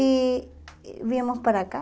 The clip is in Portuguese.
E viemos para cá.